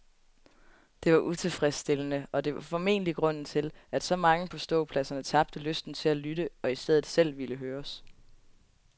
Det var utilfredsstillende, og det var formentlig grunden til, at så mange på ståpladserne tabte lysten til at lytte og i stedet selv ville høres.